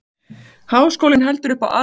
Háskólinn heldur upp á aldarafmæli